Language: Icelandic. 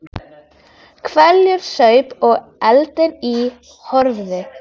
Horfði í eldinn og saup hveljur.